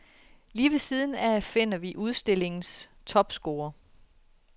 Lige ved siden af finder vi udstillingens topscorer.